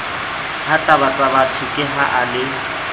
hatabatsabatho ke ha a le